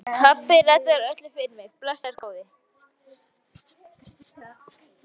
Pabbi reddar öllu fyrir mig, blessaður góði.